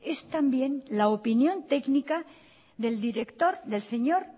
es también la opinión técnica del director del señor